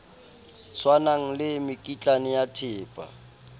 tshwanang le mekitlane ya thepa